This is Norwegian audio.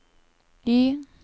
Y